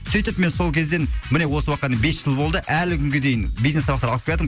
сөйтіп мен сол кезден міне осы уақытқа дейін бес жыл болды әлі күнге дейін бизнес сабақтар алып келатырмын